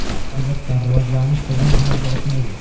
Albatta, rivojlanish birdan amalga oshmaydi.